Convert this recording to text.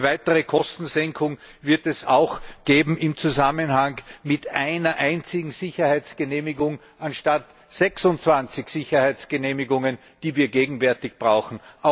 Weitere Kostensenkungen wird es auch geben im Zusammenhang mit einer einzigen Sicherheitsgenehmigung anstatt 26Sicherheitsgenehmigungen, die wir gegenwärtig brauchen.